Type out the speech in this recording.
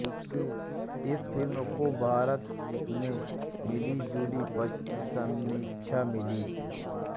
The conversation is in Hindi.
इस फिल्म को भारत में मिलीजुली समीक्षाएं मिली